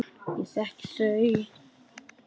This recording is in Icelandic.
Ég þekki þau.